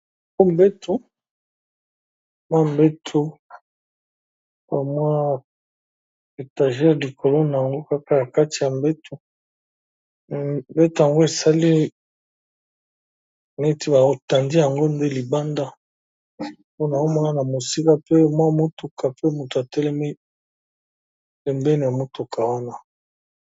Yango mwa mbeto na mwa etagere likolo na yango kaka na kati ya mbeto, mbeto yango esali neti ba tandi yango nde libanda po naomona na mosika pe mwa mutuka pe moto atelemi pembeni ya motuka wana.